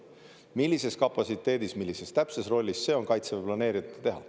Millises kapatsiteedis, millises täpses rollis, see on kaitseväe planeerijate teha.